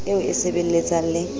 eo e e sebelletsang le